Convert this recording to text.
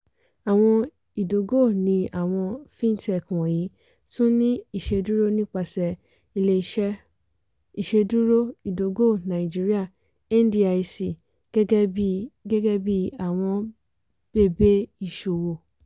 àwọn ìdógò ní àwọn (fintech) wọ̀nyí tún ní ìṣedúró nípasẹ̀ ilé-iṣẹ́ ìṣedúró ìdógò nigeria (ndic) gẹ́gẹ́ bí gẹ́gẹ́ bí àwọn bèbè iṣòwò.